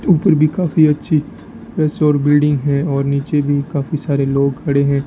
ऊपर भी काफी अच्छी इस ओर बिल्डिंग है और नीचे भी काफी सारे लोग खड़े हैं।